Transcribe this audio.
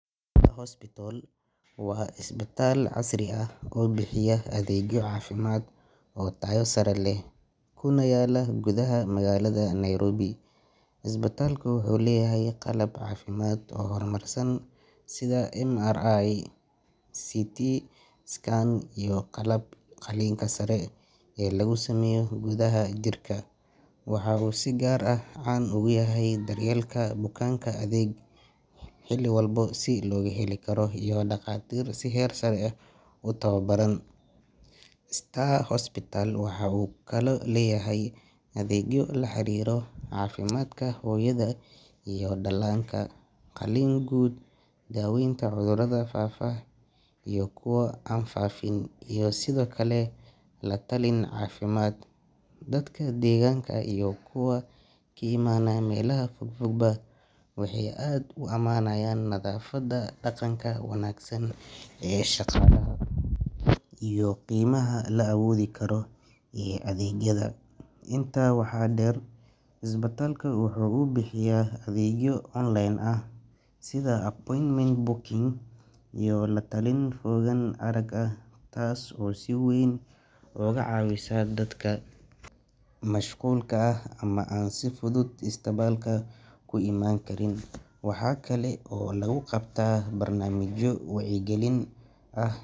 Star Hospital waa isbitaal casri ah oo bixiya adeegyo caafimaad oo tayo sare leh kuna yaala gudaha magaalada Nairobi. Isbitaalka wuxuu leeyahay qalab caafimaad oo horumarsan sida MRI, CT scan, iyo qalabka qalliinka sare ee lagu sameeyo gudaha jirka. Waxa uu si gaar ah caan ugu yahay daryeelka bukaanka, adeeg degdeg ah oo xilli walba la heli karo, iyo dhakhaatiir si heer sare ah u tababaran. Star Hospital waxa uu kaloo leeyahay adeegyo la xiriira caafimaadka hooyada iyo dhallaanka, qaliin guud, daaweynta cudurrada faafa iyo kuwa aan faafin, iyo sidoo kale la-talin caafimaad. Dadka deegaanka iyo kuwa ka imaanaya meelaha fogfogba waxay aad u ammaanayaan nadaafadda, dhaqanka wanaagsan ee shaqaalaha, iyo qiimaha la awoodi karo ee adeegyada. Intaa waxaa dheer, isbitaalku waxa uu bixiyaa adeegyo online ah sida appointment booking iyo la-talin fogaan arag ah taas oo si weyn uga caawisa dadka mashquulka ah ama aan si fudud isbitaalka ku iman karin. Waxa kale oo lagu qabtaa barnaamijyo wacyigelin ah.